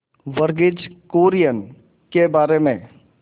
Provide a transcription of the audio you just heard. वर्गीज कुरियन के बारे में